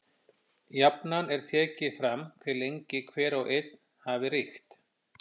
Jafnan er tekið fram hve lengi hver og einn hafi ríkt.